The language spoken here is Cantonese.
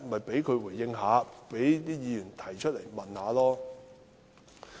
便讓他回應，讓議員提問吧。